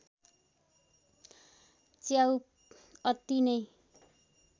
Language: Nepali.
च्याउ अति नै